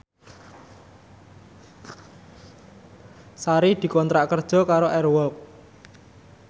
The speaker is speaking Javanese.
Sari dikontrak kerja karo Air Walk